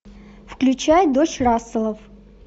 включай дочь расселов